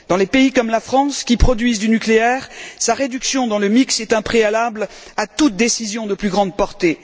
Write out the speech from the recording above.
Dans les pays comme la France, qui produisent du nucléaire, sa réduction dans le mix est un préalable à toute décision de plus grande portée.